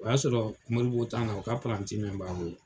O y'a sɔrɔ Moribo na , u ka paranti min b'an bolo